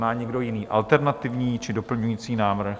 Má někdo jiný, alternativní či doplňující návrh?